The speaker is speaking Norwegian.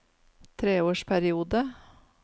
treårsperiode